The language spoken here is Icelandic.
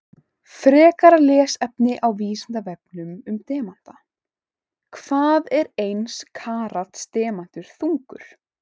Frekara lesefni á Vísindavefnum um demanta: Hvað er eins karats demantur þungur?